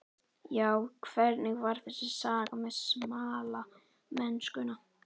Já, hvernig var þessi saga með smalamennskuna?